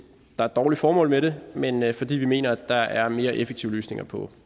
dårligt formål med det men men fordi vi mener at der er mere effektive løsninger på